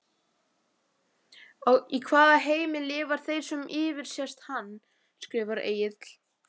Í hvaða heimi lifa þeir sem yfirsést hann? skrifar Egill.